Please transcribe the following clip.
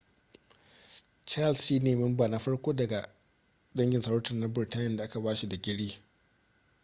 charles shi ne memba na farko cikin dangin sarauta na burtaniya da aka ba shi digiri